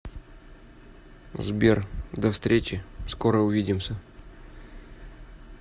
сбер до встречи скоро увидимся